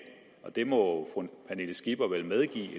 det må fru pernille skipper vel medgive